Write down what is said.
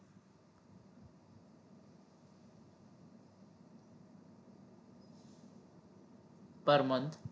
પર month